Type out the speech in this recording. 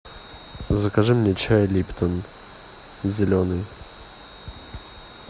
закажи мне чай липтон зеленый